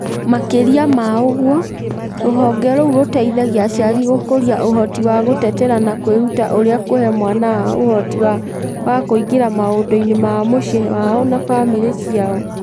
Makĩria ma ũguo, rũhonge rũu rũteithagia aciari gũkũria ũhoti wa gũtetera na kwĩruta ũrĩa kũhe mwana wao ũhoti wa kũingĩra maũndũ-inĩ ma mũciĩ wao na famĩrĩ ciao.